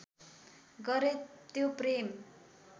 गरे त्यो प्रेम